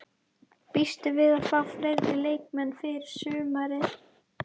Býstu við að fá fleiri leikmenn fyrir sumarið?